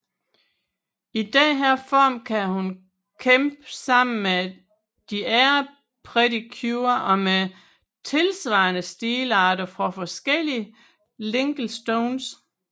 I denne form kan hun kæmpe sammen de andre Pretty Cure og med tilsvarende stilarter fra forskellige Linkle Stones